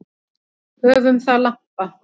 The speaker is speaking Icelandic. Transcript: Höfum það lampa.